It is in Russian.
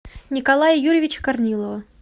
николая юрьевича корнилова